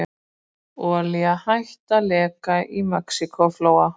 Olía hætt að leka í Mexíkóflóa